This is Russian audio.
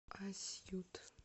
асьют